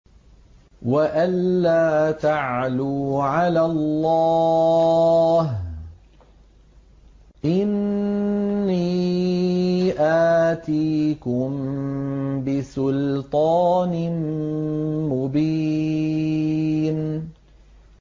وَأَن لَّا تَعْلُوا عَلَى اللَّهِ ۖ إِنِّي آتِيكُم بِسُلْطَانٍ مُّبِينٍ